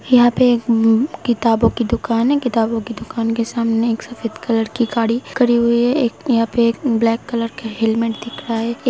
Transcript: यहां पे एक उम्म- किताबों की दुकान है। किताबों की दुकान के सामने एक सफेद कलर की गाड़ी खड़ी हुई है। एक यहां पे एक ब्लैक कलर का हेलमेट दिख रहा है। एक --